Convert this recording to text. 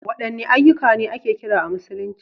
Wadanne ayyuka ne ake kira a Musulunci?